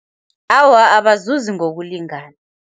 Awa, abazuzi ngokulingana.